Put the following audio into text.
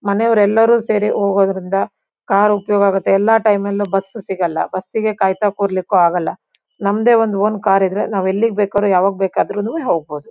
ಮನೆಯವರೆಲ್ಲರೂ ಸೇರಿ ಹೋಗೋದ್ರಿಂದ ಕಾರ್ ಉಪಯೋಗ ಆಗತ್ತೆ ಎಲ್ಲಾ ಟೈಮಲ್ಲೂ ಬಸ್ ಸಿಗಲ್ಲ ಬಸ್ಸಿಗೆ ಕಾಯ್ತಾ ಕೂರ್ಲಿಕ್ಕೂ ಆಗಲ್ಲನಮ್ದೆ ಒಂದ್ ಓನ್ ಕಾರಿದ್ರೆ ನಾವೆಲ್ಲಿಗ್ ಬೇಕಾರೂ ಯಾವಾಗ್ ಬೇಕಾದ್ರೂನು ಹೋಗ್ಬೋದು.